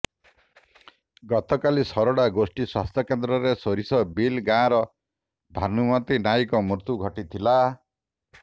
ଗତକାଲି ସୋରଡା ଗୋଷ୍ଠୀ ସ୍ୱାସ୍ଥ୍ୟକେନ୍ଦ୍ରରେ ସୋରିଷବିଲି ଗାଁର ଭାନୁମତି ନାଈଙ୍କ ମୃତ୍ୟୁ ଘଟିଥିଲା